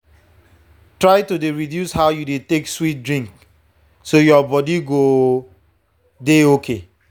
try to dey reduce how you dey take sweet drink so your body go dey okay.